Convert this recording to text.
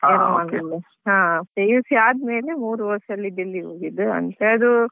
ಹಾ PUC ಆದ್ಮೇಲೆ ಮೂರ್ ವರ್ಷ ಅಲ್ಲಿ Delhi ಗೆ ಹೋಗಿದ್ದು.